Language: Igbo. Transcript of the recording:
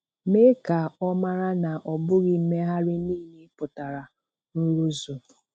Mee ka Ọ mara na ọ bụghị mmegharị niile pụtara nrụzu.